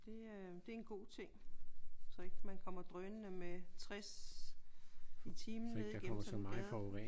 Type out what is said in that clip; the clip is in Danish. Det øh det er en god ting. Så ikke man kommer drønende med 60 i timen ned igennem sådan en gade